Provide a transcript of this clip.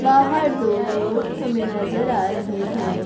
बाहर दो लोग हमें नजर आ रहे हैं।